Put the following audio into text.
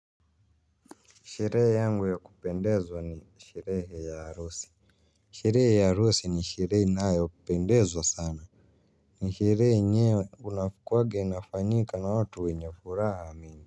Sherehe yangu ya kupendezwa ni sherehe ya harusi. Sherehe ya harusi ni sherehe inayopendezwa sana. Ni sherehe yenyewe unakuwaga inafanyika na watu wenye furaha mingi.